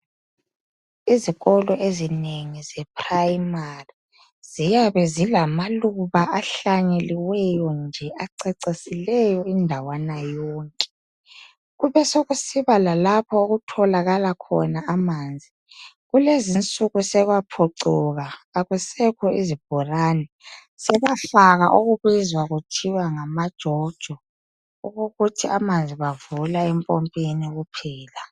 Izikolo ezinengi ze primary ziyabe zilamaluba ahlanyeliweyo nje acecisileyo indawana yonke. Kubesekusiba lalapho okutholakala khona amanzi, kulezinsuku sekwaphucuka, akusekho izibhorane, sebafaka okubizwa kuthiwa ngama jojo, okokuthi amanzi bavula empompini kuphela.